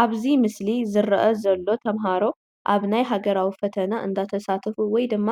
ኣብዚ ምስሊ ዝረአ ዘሎ ተምሃሮ ኣብ ናይ ሃገራዊ ፈተና እንዳተሳተፉ ወይ ድማ